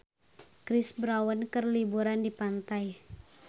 Chris Brown keur liburan di pantai